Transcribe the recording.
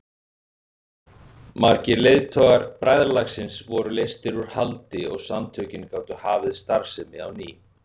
Margir leiðtogar bræðralagsins voru leystir úr haldi og samtökin gátu hafið starfsemi á ný.